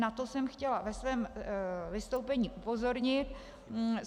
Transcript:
Na to jsem chtěla ve svém vystoupení upozornit.